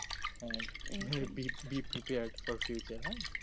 b prepiad for হ্যা